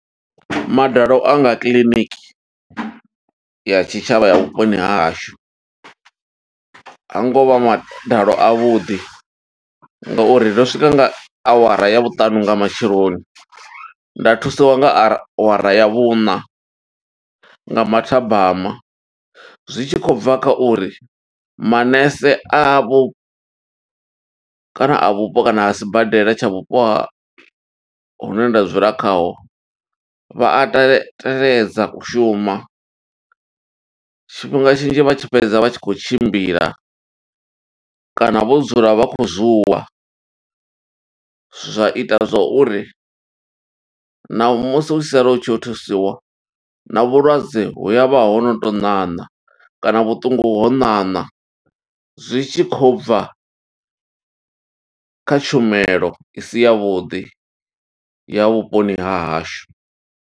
Madalo anga kiḽiniki ya tshitshavha ya vhuponi ha hashu, hangovha madalo a vhuḓi, ngo uri ndo swika nga awara ya vhuṱanu nga matsheloni, nda thusiwa nga awara ya vhuṋa nga mathabama. Zwi tshi khou bva kha uri manese avho, kana a vhupo, kana a sibadela tsha vhupo ha hune nda dzula khaho, vha a tele teledza u shuma, tshifhinga tshinzhi vha tshi fhedza, vha tshi khou tshimbila kana vho dzula vha khou zuwa. Zwa ita zwa uri naho, musi u tshi sala u tshi yo thusiwa, na vhulwadze hu avha ho no tou ṋaṋa kana vhuṱungu ho ṋaṋa, zwi tshi khou bva kha tshumelo isi yavhuḓi ya vhuponi ha hashu.